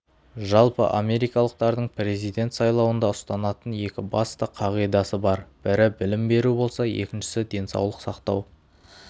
жалпы америкалықтардың президент сайлауында ұстанатын екі басты қағидасы бар бірі білім беру болса екіншісі денсаулық сақтау